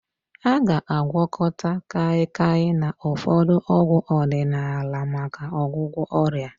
A ga-agwakọta Kaịkaị na ụfọdụ ọgwụ ọdịnaala maka ọgwụgwọ ọrịa